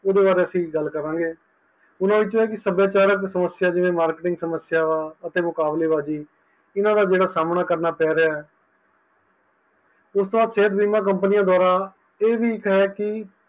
ਉਹਦੇ ਬਾਰੀ ਅਸੀਂ ਗਲ ਕਾਰਾਂ ਗਏ ਓਹਨਾਂ ਵਿਚੋਂ ਸੱਭਿਚਾਰਕ ਜਿਵੇ marketing ਸਮਸਿਆਂ ਅਤੇ ਮੁਕਾਬਲੇ ਬਾਜੀ ਇਹਨਾਂ ਦਾ ਸਾਮਨਾਕਰਨਾ ਪੈ ਰਿਹਾ ਹੈ ਓਸ ਤੋਹ ਬਾਅਦ ਸੇਹਤ ਬੀਮਾ companies ਦਵਾਰਾਂ ਇਹ ਵੀ ਹੈ ਕੀ